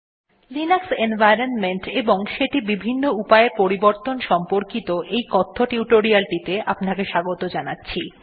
নমস্কার বন্ধুগণ Linux environment এবং সেটি বিভিন্ন উপায়ে পরিবর্তন সম্পর্কিত এই কথ্য টিউটোরিয়ালটিতে আপনাকে স্বাগত জানাচ্ছি